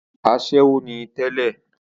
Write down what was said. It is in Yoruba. asẹ́wó ni tẹ́lẹ̀